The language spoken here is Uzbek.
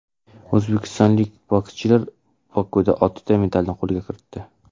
O‘zbekistonlik bokschilar Bokuda oltita medalni qo‘lga kiritdi.